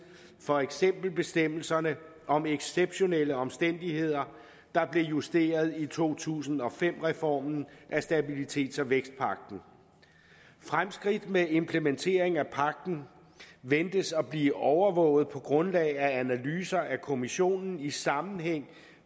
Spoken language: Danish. for eksempel bestemmelserne om exceptionelle omstændigheder der blev justeret i to tusind og fem reformen af stabilitets og vækstpagten fremskridt med implementering af pagten ventes at blive overvåget på grundlag af analyser af kommissionen i sammenhæng